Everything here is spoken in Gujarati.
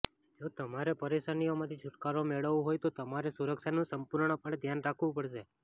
જો તમારે પરેશાનીઓમાંથી છુટકારો મેળવવો હોય તો તમારે સુરક્ષાનું સંપૂર્ણપણે ધ્યાન રાખવું પડશે